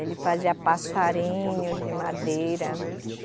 Ele fazia passarinhos de madeira.